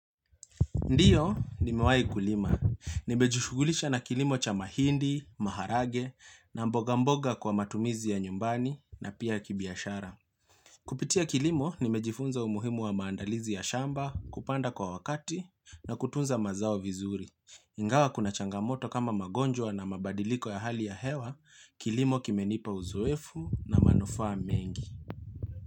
Ndiyo nimewai kulima. Nimejushugulisha na kilimo cha mahindi, maharage na mboga mboga kwa matumizi ya nyumbani na pia kibiashara. Kupitia kilimo nimejifunza umuhimu wa maandalizi ya shamba, kupanda kwa wakati na kutunza mazao vizuri. Ingawa kuna changamoto kama magonjwa na mabadiliko ya hali ya hewa, kilimo kimenipa uzoefu na manufaa mengi.